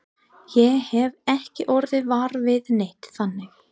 Ég hef ekki orðið var við neitt, þannig.